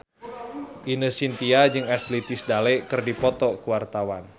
Ine Shintya jeung Ashley Tisdale keur dipoto ku wartawan